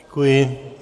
Děkuji.